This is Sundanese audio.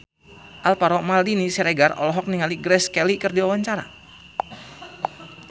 Alvaro Maldini Siregar olohok ningali Grace Kelly keur diwawancara